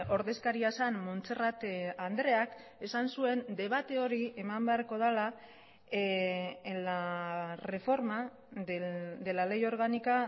ordezkaria zen montserrat andreak esan zuen debate hori eman beharko dela en la reforma de la ley orgánica